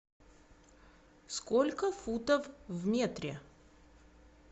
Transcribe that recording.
сколько футов в метре